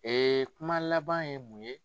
kuma laban ye mun ye.